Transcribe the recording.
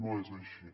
no és així